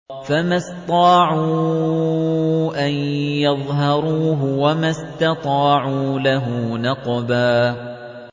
فَمَا اسْطَاعُوا أَن يَظْهَرُوهُ وَمَا اسْتَطَاعُوا لَهُ نَقْبًا